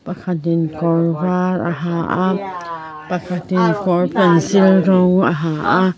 pakhat in kawr var a ha a pakhat in kawr pencil rawng a ha a --